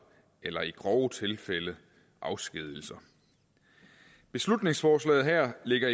eller i grove tilfælde afskedigelser beslutningsforslaget her ligger